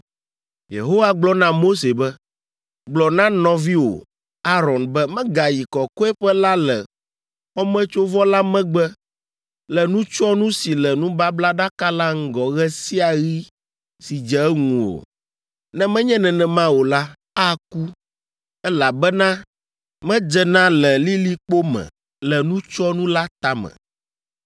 Yehowa gblɔ na Mose be, “Gblɔ na nɔviwò, Aron be megayi Kɔkɔeƒe la le xɔmetsovɔ la megbe le nutsyɔnu si le nubablaɖaka la ŋgɔ ɣe sia ɣi si dze eŋu o, ne menye nenema o la, aku, elabena medzena le lilikpo me le nutsyɔnu la tame.